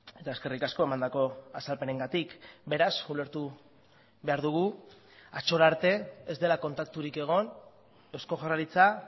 eta eskerrik asko emandako azalpenengatik beraz ulertu behar dugu atzora arte ez dela kontakturik egon eusko jaurlaritza